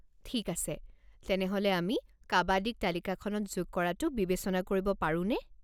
ঠিক আছে, তেনেহ'লে আমি কাবাদীক তালিকাখনত যোগ কৰাটো বিবেচনা কৰিব পাৰোনে?